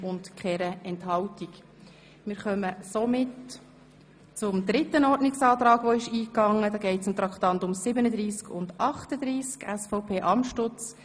2016 Solarstrom: BKW soll Verantwortung übernehmen und nicht einseitig Eigennutzen optimieren Traktandum 38 Geschäft 2016.RRGR.1008 M 218-2016 Korrektur der Reduktion des Tarifs für Energie aus Fotovoltaikanlagen!